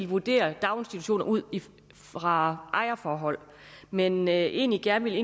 vurdere daginstitutioner ud fra ejerforholdet men egentlig gerne ville